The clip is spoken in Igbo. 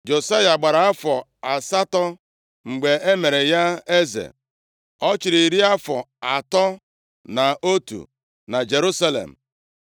Josaya gbara afọ asatọ mgbe e mere ya eze. Ọ chịrị iri afọ atọ na otu na Jerusalem.